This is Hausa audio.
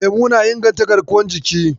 Lemo na inganta garkuwar jiki.